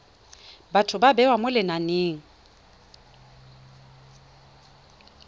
batho ba bewa mo lenaneng